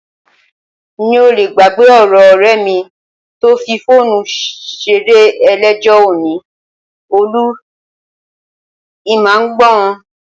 N ò le gbàgbé ọ̀rọ̀ ọ̀rẹ́ mi tó fi fóònù ṣeré eléjò, ó ní, "Olú, ì mà ń gbọ́n".